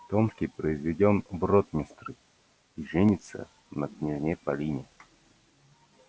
томский произведён в ротмистры и женится на княжне полине